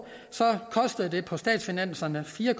så koster det på statsfinanserne fire